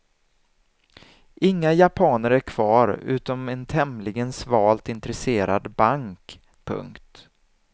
Inga japaner är kvar utom en tämligen svalt intresserad bank. punkt